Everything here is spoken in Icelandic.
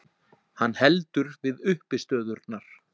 Hann heldur við uppistöðurnar.